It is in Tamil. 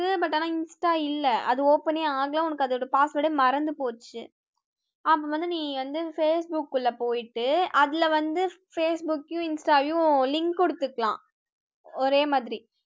but ஆனா insta இல்ல அது open யே ஆகல, உனக்கு அதோட password மறந்து போச்சு, அப்ப வந்து நீ வந்து facebook ல போயிட்டு, அதுல வந்து facebook யும் insta யும் link கொடுத்துக்கலாம் ஒரே மாதிரி